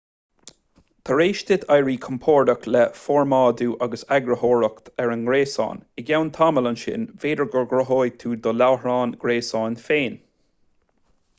tar éis duit éirí compordach le formáidiú agus eagarthóireacht ar an ngréasán i gceann tamaill ansin b'fhéidir go gcruthóidh tú do láithreán gréasáin féin